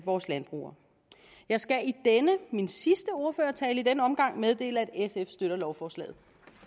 vores landbrug jeg skal i denne min sidste ordførertale i denne omgang meddele at sf støtter lovforslaget